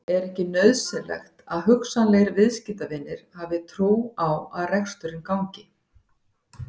Er ekki nauðsynlegt að hugsanlegir viðskiptavinir hafi trú á að reksturinn gangi?